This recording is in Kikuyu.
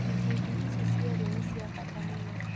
Ikundi ici cierĩ nĩ cia bata mũno